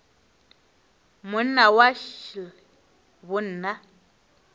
monna wa š le bonna